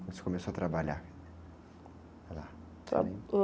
Quando você começou a trabalhar lá? Você lembra?